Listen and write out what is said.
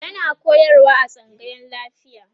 yana koyarwa a tsangayan lafiya